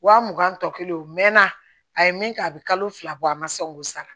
Wa mugan tɔ kelen o mɛnna a ye min kɛ a bɛ kalo fila bɔ a ma sa o b'o sara